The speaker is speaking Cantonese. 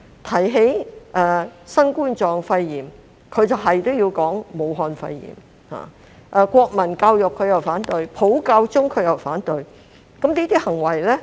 提起新冠病毒肺炎，他們必然說成武漢肺炎；國民教育，他們反對；普教中，他們又反對。